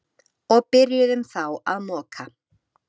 Og byrjuðum þá að moka.